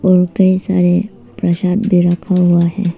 और कई सारे प्रसाद भी रखा हुआ है।